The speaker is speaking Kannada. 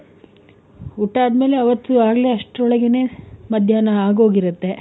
ಊಟ ಆದ್ಮೇಲೆ ಅವತ್ತು ಆಗ್ಲೆ ಆಸ್ಟ್ರೋಲಗೇನೆ ಮದ್ಯಾನ ಆಗೋಗಿರುತ್ತೆ.